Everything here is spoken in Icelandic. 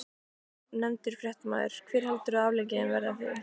Ónefndur fréttamaður: Hver heldurðu að afleiðingin verði af því?